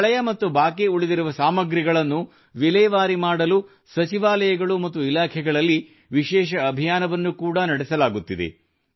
ಹಳೆಯ ಮತ್ತು ಬಾಕಿ ಉಳಿದಿರುವ ಸಾಮಗ್ರಿಗಳನ್ನು ವಿಲೇವಾರಿ ಮಾಡಲು ಸಚಿವಾಲಯಗಳು ಮತ್ತು ಇಲಾಖೆಗಳಲ್ಲಿ ವಿಶೇಷ ಅಭಿಯಾನವನ್ನು ಕೂಡಾ ನಡೆಸಲಾಗುತ್ತಿದೆ